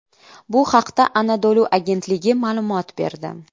Bu haqda Anadolu agentligi ma’lumot berdi .